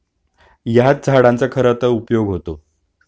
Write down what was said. ह्याच झाडांचा खरतर उपयोग होतो